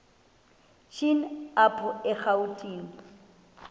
shini apho erawutini